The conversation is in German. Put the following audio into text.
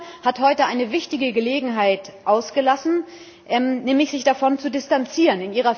Frau Zimmer hat heute eine wichtige Gelegenheit ausgelassen nämlich sich davon zu distanzieren.